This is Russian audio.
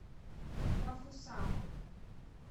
бафусам